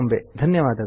ಧನ್ಯವಾದಗಳು